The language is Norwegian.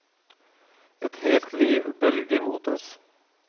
Et helt liv bølger mot oss.